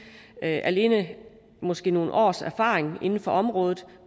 at alene måske nogle års erfaring inden for området